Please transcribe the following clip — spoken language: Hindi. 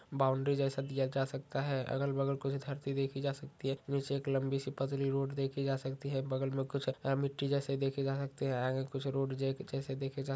बाउंड्री जैसे दिया जा सकता है अगल बगल कुछ धरती देखी जा सकती है नीचे एक लंबी सी पतली सी रोड देखी जा सकती है बगल में कुछ मिट्टी जेसी देखी जा सकती है आगे कुछ रोड जैसे देखे जा--